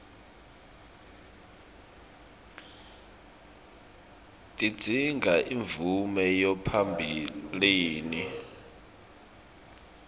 tidzinga imvume yaphambilini